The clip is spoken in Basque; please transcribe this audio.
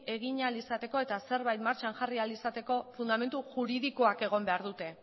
egin ahal izateko eta zerbait martxan jarri ahal izateko fundamentu juridikoak egon behar dute